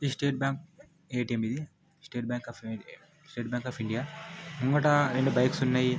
State bank A T M ఇది state bank of - state bank of India ముంగట రెండు bikes సన్నాయి.